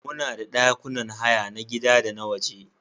Muna da ɗakunan haya na gida da na waje.